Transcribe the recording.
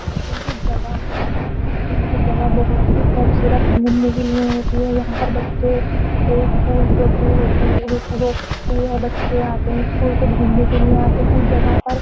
Parking की जगह होती है पार्किंग की जगह बोहोत ही खूबसूरत घूमने के लिए होती है। यहाँ पर बच्चे स्कूल ट्रिप भी होती बच्चे आते हैं स्कूल से घूमने के लिए आते हैं जगह पर।